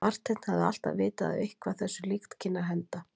Marteinn hafði alltaf vitað að eitthvað þessu líkt kynni að henda.